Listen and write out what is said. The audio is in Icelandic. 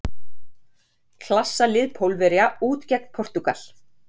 Klassa lið Pólverja út gegn Portúgal.